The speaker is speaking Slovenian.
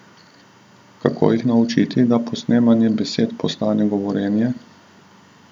Kako jih naučiti, da posnemanje besed postane govorjenje?